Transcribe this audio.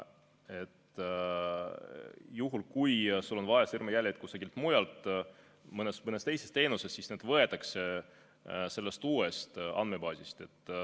Juhul, kui sul on vaja sõrmejälgi kusagil mujal, mõnes teises teenuses, siis need võetakse sellest uuest andmebaasist.